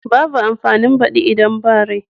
Babu amfanin badi idan ba rai.